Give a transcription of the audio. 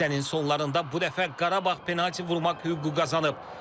Hissənin sonlarında bu dəfə Qarabağ penalti vurmaq hüququ qazanıb.